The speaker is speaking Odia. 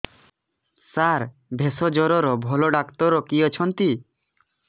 ସାର ଭେଷଜର ଭଲ ଡକ୍ଟର କିଏ ଅଛନ୍ତି